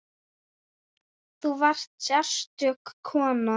Þú varst sérstök kona.